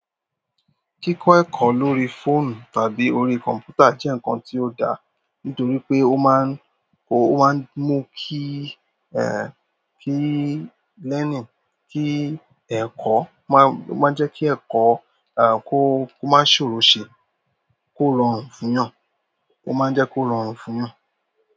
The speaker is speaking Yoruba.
Kíkọ ẹ̀kọ́ lórí fóònù tàbí òrí computer jẹ́ nǹkan tí ó dá nítorí pé ó máa ń, o ó máa ń mú kí eh kí learning kí ẹ̀kọ́ má má ń jẹ́ kí ẹ̀kọ́ eh kó kó má ṣòro ṣe kó rọrùn fún yàn. Ó máa ń jẹ́ kó rọrùn fún yàn.